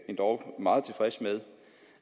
endog meget tilfreds med